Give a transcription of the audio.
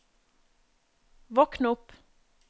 våkn opp